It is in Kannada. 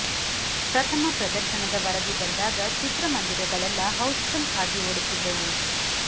ಪ್ರಥಮ ಪ್ರದರ್ಶನದ ವರದಿ ಬಂದಾಗ ಚಿತ್ರಮಂದಿರಗಳೆಲ್ಲ ಹೌಸ್ ಫುಲ್ ಆಗಿ ಓಡುತ್ತಿದ್ದವು